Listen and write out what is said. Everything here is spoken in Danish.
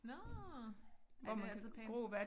Nårh ej det altså pænt